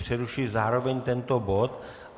Přerušuji zároveň tento bod.